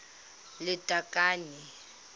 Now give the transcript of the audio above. lethakane